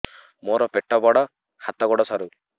ମୋର ପେଟ ବଡ ହାତ ଗୋଡ ସରୁ